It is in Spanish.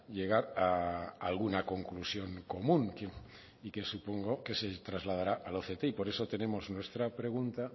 llegar a alguna conclusión común y que supongo que se trasladará al oct y por eso tenemos nuestra pregunta